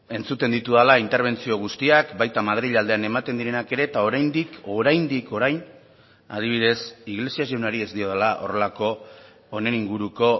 entzuten ditudala interbentzio guztiak baita madril aldean ematen direnak ere eta oraindik oraindik orain adibidez iglesias jaunari ez diodala horrelako honen inguruko